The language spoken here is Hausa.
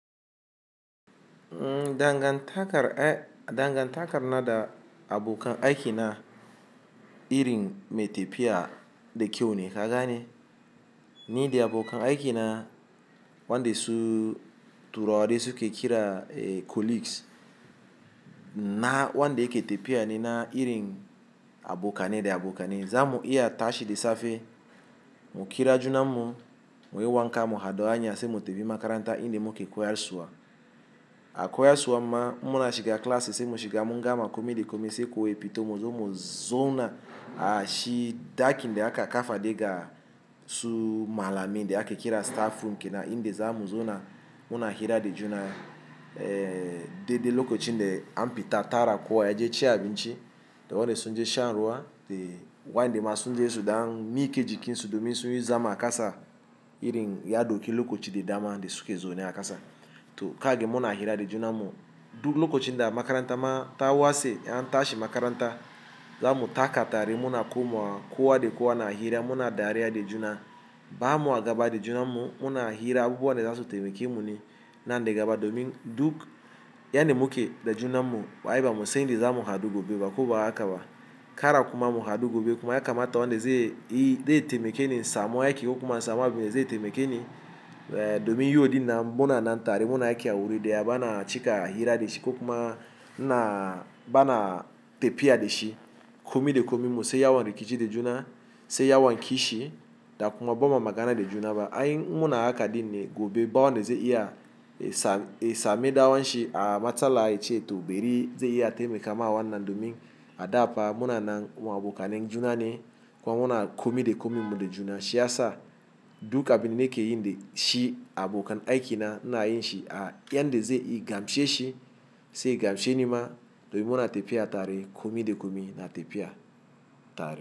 Dangantakar na da abokan aiki na irin me tefiya da kyau ne ka gane. Ni da abokan aiki na wanda su turawa dai suke kira colleagues. Na wanda yake tfiya ne na irin abokanai da abokanai. Za mu iya tashi da safe mu kira juna mu, mu yi wanka, mu haɗu hanya sai mu tafi makaranta inda muke koyarsuwa. A koyarsuwa ma um munashi ga class sai mu shiga mun gama komi da komi sai kowa ya fito, mu zo mu zauna a shi dakin da aka kafa dai ga su malamai dai ake kira staffroom kenan inda za mu zauna muna hira da juna. Dede lokacin dai an fita tara kowa ya je ci abinci, da wanda sun je shan ruwa da wanda ma sun je su da ɗan mi ke jikin su domin su yi zama a kasa irin ya dauki lokaci da dama dai suke zaune a kasa. To kage muna hira da juna mu duk lokacin da makaranta ma ta wase an tashi makaranta, za mu taka tare muna koma kowa da kowa na hira muna dariya da juna. Ba mu a gaba da junan mu muna hira abubuwan da za su taimake mu ne nan da gaba domin duk yadda muke da juna mu ai yi ba mu san inda za mu haɗu gobe ba ko ba haka ba. Kara kuma mu haɗu gobe kuma ya kamata wanda zai yi zai taimake ni in samu aiki ko kuma in samu abun da zai taimake ni domin yi odi na muna nan tare muna aiki a wuri ɗaya bana cika hira da shi ko kuma na bana tefiya da shi komi da komi mu sai yawon rikici da juna sai yawon kishi da kuma babma magana da juna ba. Ai muna haka ɗin ne gobe bawanda zai iya ya samu ɗan uwan shi a matsala ice to bari zai iya taimaka ma wannan domin a dafa munanan kuma abokanan junan ne, kuma muna komi da komi mu da juna shiyasa duk abin da nake yin dai shi abokan aiki na ina yin shi a yan da zai yi gamshe shi sai gamshe ni ma domin muna tefiya tare komi da komi na tefiya tare.